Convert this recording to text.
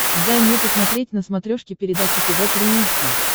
дай мне посмотреть на смотрешке передачу тв три эйч ди